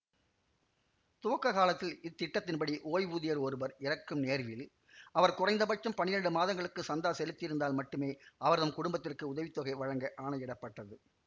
துவக்கக் காலத்தில் இத்திட்டத்தின்படி ஓய்வூதியர் ஒருவர் இறக்கும் நேர்வில் அவர் குறைந்தபட்சம் பனிரெண்டு மாதங்களுக்கு சந்தா செலுத்தியிருந்தால் மட்டுமே அவர்தம் குடும்பத்திற்கு உதவி தொகை வழங்க ஆணையிடப்பட்டது